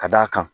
Ka d'a kan